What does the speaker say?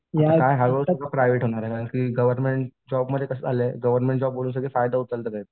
काय हळू हळू सगळं प्रायव्हेट होणार आहे कारण की गव्हर्नमेंट जॉब मुळे कसं झालंय गव्हर्नमेंट जॉब म्हणून फायदा उचलतात सगळे.